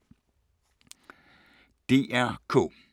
DR K